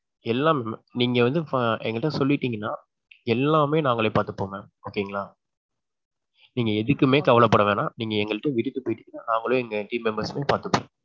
எல்லாம். நீங்க வந்து எங்ககிட்ட சொல்லிடீங்கன்னா எல்லாமே நாங்களே பாத்துப்போம் mam okay ங்களா. நீங்க எதுக்குமே கவலை பட வேண்டாம். நீங்க எங்ககிட்ட விட்டுட்டு போயிட்டீங்கனா நாங்களே எங்க team members எல்லாம் பாத்துப்போம்.